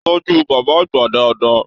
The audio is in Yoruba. Tọjú bàbá àgbà dáadáa!